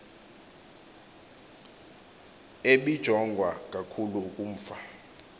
ebijongwa kakhulu ukumfa